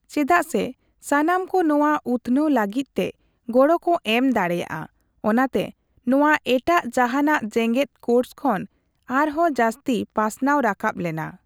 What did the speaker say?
ᱪᱮᱫᱟᱜᱥᱮ ᱥᱟᱱᱟᱢ ᱠᱚ ᱱᱚᱣᱟ ᱩᱛᱱᱟᱹᱣ ᱞᱟᱹᱜᱤᱫ ᱛᱮ ᱜᱚᱲᱚ ᱠᱚ ᱮᱢ ᱫᱟᱲᱮᱭᱟᱜᱼᱟ ᱚᱱᱟᱛᱮ ᱱᱚᱣᱟ ᱮᱴᱟᱜ ᱡᱟᱸᱦᱟᱱᱟ ᱡᱮᱜᱮᱫ ᱠᱳᱥ ᱠᱷᱚᱱ ᱟᱨᱦᱚᱸ ᱡᱟᱹᱥᱛᱤ ᱯᱟᱥᱱᱟᱣ ᱨᱟᱠᱟᱵ ᱞᱮᱱᱟ ᱾